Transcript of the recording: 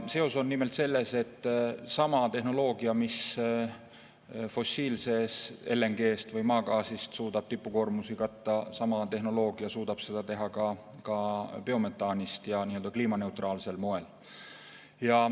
Seos on nimelt selles, et sama tehnoloogia abil, millega fossiilse LNG või maagaasiga suudetakse tipukoormusi katta, sama tehnoloogia abil suudetakse seda teha ka biometaaniga ja kliimaneutraalsel moel.